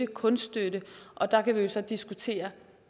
kunststøtte og der kan vi så diskutere